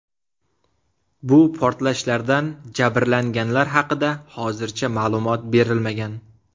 Bu portlashlardan jabrlanganlar haqida hozircha ma’lumot berilmagan.